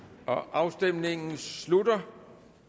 afstemningen slutter